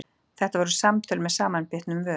Þetta voru samtöl með samanbitnum vörum.